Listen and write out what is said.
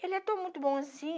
Ele é tão muito bom assim.